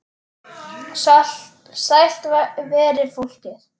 Sælt veri fólkið!